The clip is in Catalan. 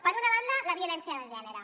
per una banda la violència de gènere